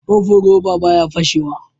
Kofin roba baya fashe wa